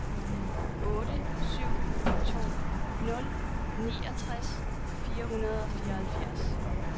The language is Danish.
otte syv to nul niogtres fire hundrede og fireoghalvfjerds